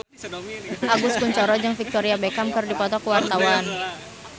Agus Kuncoro jeung Victoria Beckham keur dipoto ku wartawan